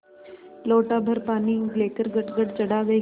लोटाभर पानी लेकर गटगट चढ़ा गई